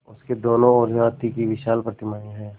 उसके दोनों ओर हाथी की विशाल प्रतिमाएँ हैं